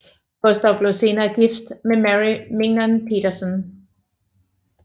Gustav blev senere gift med Merry Mignon Petersson